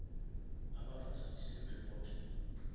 a ba fa citizen report